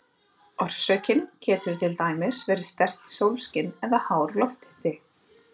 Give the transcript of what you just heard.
Orsökin getur til dæmis verið sterkt sólskin eða hár lofthiti.